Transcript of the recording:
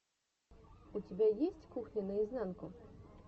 у тебя есть кухня наизнанку